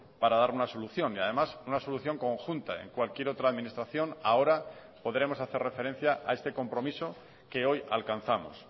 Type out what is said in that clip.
para dar una solución y además una solución conjunta en cualquier otra administración ahora podremos hacer referencia a este compromiso que hoy alcanzamos